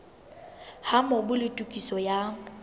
ha mobu le tokiso ya